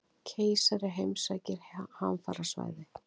Keisari heimsækir hamfarasvæði